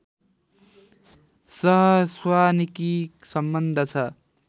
सहस्वानिकी सम्बन्ध छ